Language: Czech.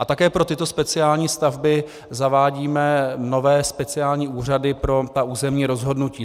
A také pro tyto speciální stavby zavádíme nové speciální úřady pro ta území rozhodnutí.